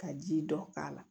Ka ji dɔ k'a la